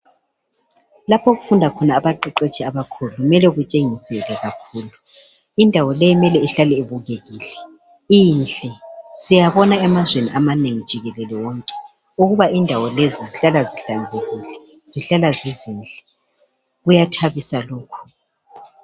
Lapho okufunda khona abaqeqeshi abakhulu kumele kutshengisele kakhulu indawo le kumele ihlale ibukekile inhle siyabona emazweni amanengi jikelele wonke ukuba indawo lezi zihlala zihlanzekile zihlala zizinhle kuyathabisa lokhu